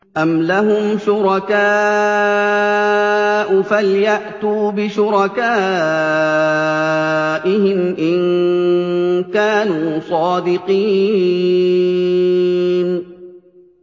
أَمْ لَهُمْ شُرَكَاءُ فَلْيَأْتُوا بِشُرَكَائِهِمْ إِن كَانُوا صَادِقِينَ